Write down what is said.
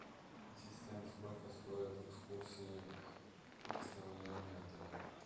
ассистент сколько стоит экскурсия предоставляемая отелем